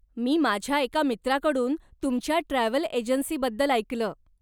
मी माझ्या एका मित्राकडून तुमच्या ट्रॅव्हल एजन्सीबद्दल ऐकलं.